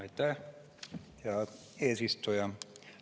Aitäh, hea eesistuja!